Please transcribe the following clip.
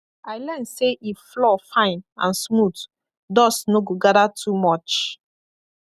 i learn say if floor fine and smooth dust no go gather too much